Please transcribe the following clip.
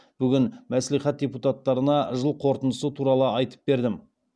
бүгін мәслихат депутаттарына жыл қорытындысы туралы айтып бердім